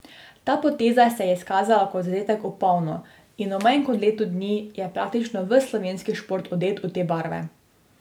Ta poteza se je izkazala kot zadetek v polno in v manj kot letu dni je praktično ves slovenski šport odet v te barve.